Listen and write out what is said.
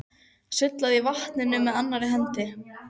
Sullaði í vatninu með annarri hendi.